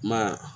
Ma